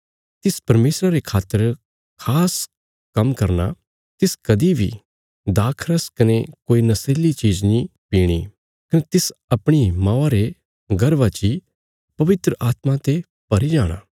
तिस परमेशरा रे खातर खास काम्म करना तिस कदीं बी अंगूरां रा रस कने कोई नशीली चीज़ नीं पीणी कने तिस अपणी मौआ रे गर्भा ची पवित्र आत्मा ते भरी जाणा